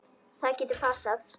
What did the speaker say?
Það getur passað.